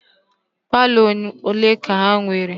Palọ ole ka ị nwere?